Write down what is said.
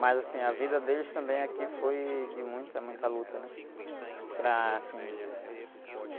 Mas, assim, a vida deles também aqui foi de muita, muita luta, né? Para, assim...